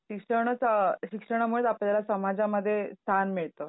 शिक्षणच अ शिक्षणामुळेच आपल्याला समाजामध्ये स्थान मिळतं.